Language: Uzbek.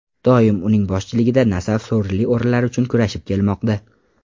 Doim uning boshchiligida ‘Nasaf’ sovrinli o‘rinlar uchun kurashib kelmoqda.